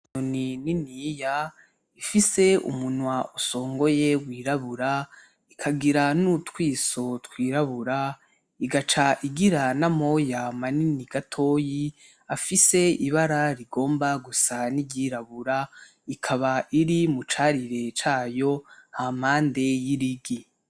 Inyoni niniya ifise umunwa usongoye wirabura ikagira n'utwiso twirabura igaca igira n'amoya manini gatoyi afise ibara rigomba gusa niry'irabura, ikaba iri mu carire cayo hampande y'irigi.